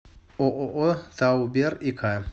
ооо таубер и к